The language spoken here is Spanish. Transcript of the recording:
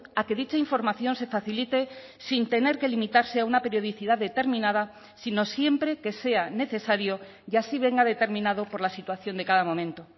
a que dicha información se facilite sin tener que limitarse a una periodicidad determinada sino siempre que sea necesario y así venga determinado por la situación de cada momento